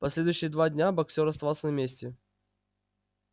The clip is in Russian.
последующие два дня боксёр оставался на месте